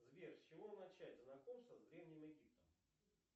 сбер с чего начать знакомство с древним египтом